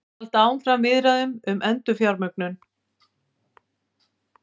Halda áfram viðræðum um endurfjármögnun